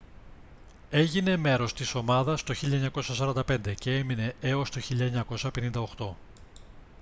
έγινε μέρος της ομάδα το 1945 και έμεινε έως το 1958